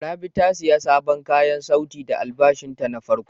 Rabi ta sayi sabon kayan sauti da albashin ta na farko.